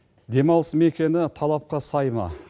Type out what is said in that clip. демалыс мекені талапқа сай ма